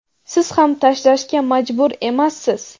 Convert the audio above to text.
siz ham tashlashga majbur emassiz.